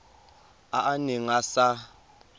a a neng a sa